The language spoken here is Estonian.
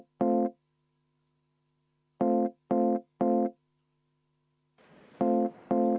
Kümme minutit vaheaega.